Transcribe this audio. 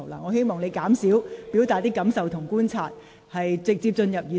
我希望你減少表達你的感受和觀察，請直接進入議題。